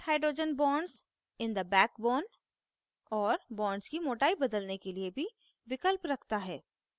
set hydrogen bonds in the backbone